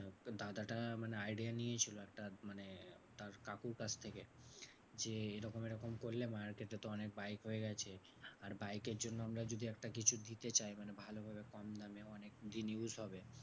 তো দাদাটা মানে idea নিয়েছিল একটা মানে তার কাকুর কাছ থেকে। যে এরকম এরকম করলে market এ তো অনেক বাইক হয়ে গেছে, আর বাইকের জন্য আমরা যদি একটা কিছু দিতে চাই মানে ভালোভাবে কম দামে অনেক যে news হবে